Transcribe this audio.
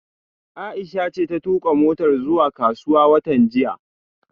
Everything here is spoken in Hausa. Aisha ce ta tuka motar zuwa kasuwa watan jiya